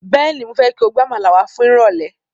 Bẹ́ẹ̀ni, mo fẹ́ kí o gbe Àmàlà wá fún ni irole